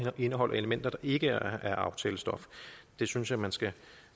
indeholder elementer der ikke er aftalestof det synes jeg man skal